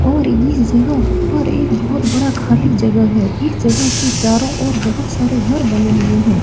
और ये जगह पर एक बहुत बड़ा खाली जगह है | इस जगह के चारो ओर बहुत सारे घर बने हुए हैं।